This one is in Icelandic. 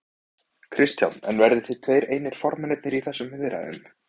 Kristján: En verðið þið tveir einir formennirnir í þessum viðræðum?